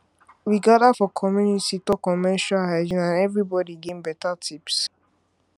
we gather for community talk on menstrual hygiene and everybody gain better tips